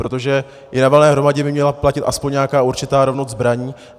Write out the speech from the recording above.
Protože i na valné hromadě by měla platit aspoň nějaká určitá rovnost zbraní.